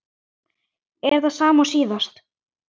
Er það sama og síðast?